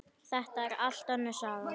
Þetta er allt önnur saga!